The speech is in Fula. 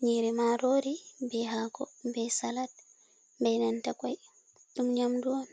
Nyiiri maarori, be haako, be salat, be nanta kwai, ɗum nyamndu on